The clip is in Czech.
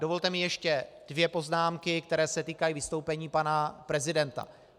Dovolte mi ještě dvě poznámky, které se týkají vystoupení pana prezidenta.